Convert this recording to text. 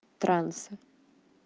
транса